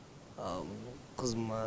ал қызыма